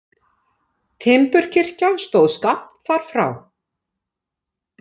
Timburkirkja stóð skammt þar frá.